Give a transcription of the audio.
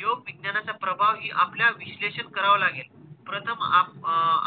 योग विज्ञानाचा प्रभाव हि आपल्या विश्लेषित करावा लागेल. प्रथम अं